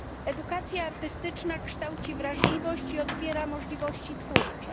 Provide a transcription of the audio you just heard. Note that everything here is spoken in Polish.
Edukacja artystyczna kształci wrażliwość i otwiera możliwości twórcze.